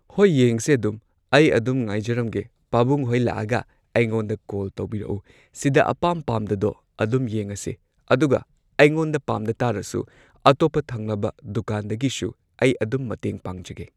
ꯍꯣꯏ ꯌꯦꯡꯁꯦ ꯑꯗꯨꯝ ꯑꯩ ꯑꯗꯨꯝ ꯉꯥꯏꯖꯔꯝꯒꯦ ꯄꯥꯕꯨꯡꯍꯣꯢ ꯂꯥꯛꯑꯒ ꯑꯩꯉꯣꯟꯗ ꯀꯣꯜ ꯇꯧꯕꯤꯔꯛꯎ ꯁꯤꯗ ꯑꯄꯥꯝ ꯄꯥꯝꯗꯗꯣ ꯑꯗꯨꯝ ꯌꯦꯡꯉꯁꯦ ꯑꯗꯨꯒ ꯑꯩꯉꯣꯟꯗ ꯄꯥꯝꯗꯇꯥꯔꯁꯨ ꯑꯇꯣꯞꯄ ꯊꯪꯅꯕ ꯗꯨꯀꯥꯟꯗꯒꯤꯁꯨ ꯑꯩ ꯑꯗꯨꯝ ꯃꯇꯦꯡ ꯄꯥꯡꯖꯒꯦ꯫